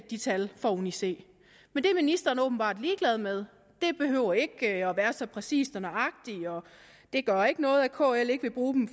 de tal fra uni c men det er ministeren åbenbart ligeglad med det behøver ikke at være så præcist og nøjagtigt og det gør ikke noget at kl ikke vil bruge dem